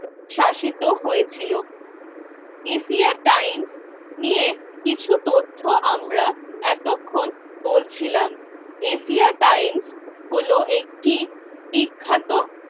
শাসিত হয়েছিল Asia time নিয়ে কিছু তথ্য আমরা এতক্ষণ বলছিলাম, এশিয়া টাইম হল একটি বিখ্যাত